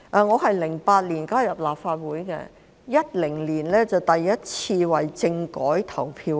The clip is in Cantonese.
我在2008年加入立法會 ，2010 年我們首次為政改投票。